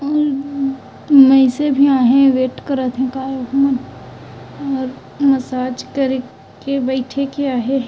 और वैसे भी आहे वेट करत है का और मसाज करके बैठे क्या है। --